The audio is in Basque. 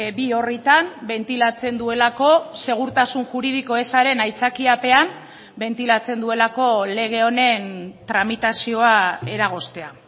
bi orritan bentilatzen duelako segurtasun juridiko ezaren aitzakiapean bentilatzen duelako lege honen tramitazioa eragoztea